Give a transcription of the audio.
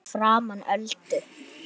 Fyrir framan Öldu.